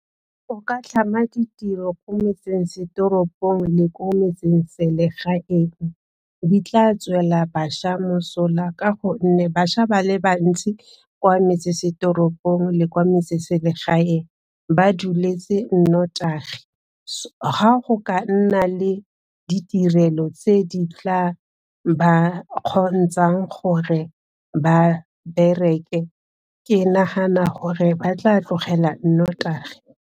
O ka tlhama ditiro ko metsesetoropong le ko metseselegaeng, di tla tswela bašwa mosola ka gonne bašwa ba le bantsi kwa metsesetoropong le kwa metseselegae ba dueletse nnotagi, ga go ka nna le ditirelo tse di tla ba kgontshang gore ba bereke, ke nagana gore ba tla tlogela nnotagi.